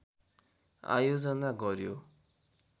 आयोजना गर्यो